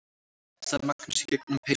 sagði Magnús í gegnum peysuna.